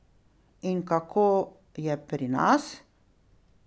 In kako je pri nas?